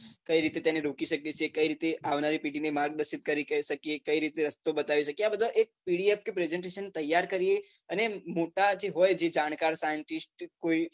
કઈ રીતે તેને રોકી શકીએ છીએ કઈ રીતે આવનારી પેઢીને માર્ગદર્શન કરી શકીએ કઈ રીતે રસ્તો બતાવી શકીએ આ બધાં એક P D F કે presentation તૈયાર કરીએ અને મોટા જે હોય જે જાણકાર હોય જાણકાર scientist કોઈ